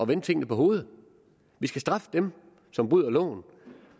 vende tingene på hovedet vi skal straffe dem som bryder loven